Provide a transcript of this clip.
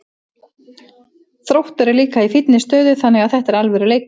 Þróttur er líka í fínni stöðu þannig að þetta er alvöru leikur.